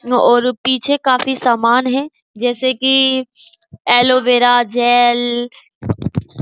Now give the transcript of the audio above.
और पीछे काफी सामान है जैसे कि एलोवेरा जेल --